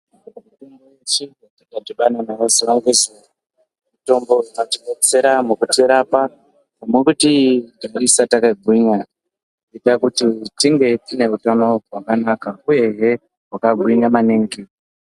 Mitombo yatinodhibana nayo zuva nezuva mitombo ingatibetsera mukutirapa nekuti tisare yakagwinya ngekuda kuti tinge tineutano hwakanaka uyehe nekugwinya maningi.